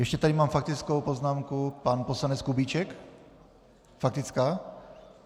Ještě tady mám faktickou poznámku - pan poslanec Kubíček, faktická?